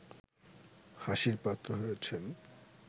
হাসির পাত্র হয়েছেন